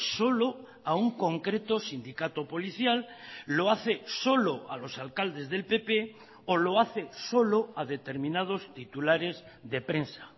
solo a un concreto sindicato policial lo hace solo a los alcaldes del pp o lo hace solo a determinados titulares de prensa